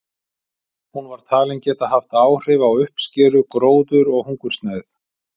Hún var talin geta haft áhrif á uppskeru, gróður og hungursneyð.